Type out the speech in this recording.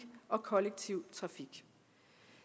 og kollektiv trafik